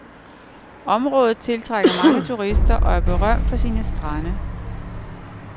Området tiltrækker mange turister og er berømt for sine strande.